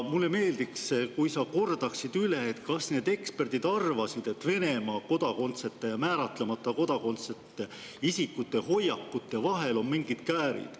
Mulle meeldiks, kui sa kordaksid üle, kas need eksperdid arvasid, et Venemaa kodakondsete ja määratlemata kodakondsusega isikute hoiakute vahel on mingid käärid.